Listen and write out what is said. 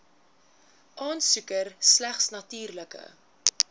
aansoeker slegs natuurlike